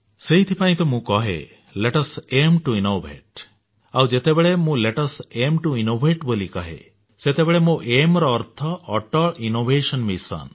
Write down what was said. ସେଥିପାଇଁ ତ ମୁଁ କହେ let us AIM to innovate ଆଉ ଯେତେବେଳେ ଏଆଇଏମ୍ ଟିଓ ଇନୋଭେଟ୍ କହେ ସେତେବେଳେ ମୋ ଏଆଇଏମ୍ ର ଅର୍ଥ ଅଟଲ ଇନୋଭେସନ ମିଶନ